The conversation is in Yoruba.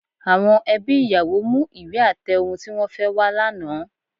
Àwọn ẹbí ìyàwó mú ìwé àtẹ ohun tí wọ́n fẹ́ wá lánàá